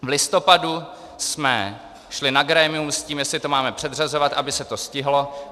V listopadu jsme šli na grémium s tím, jestli to máme předřazovat, aby se to stihlo.